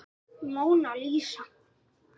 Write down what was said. Móna Lísa.